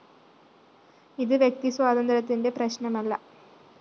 ഇത് വ്യക്തി സ്വാതന്ത്ര്യത്തിന്റെ പ്രശ്‌നമല്ല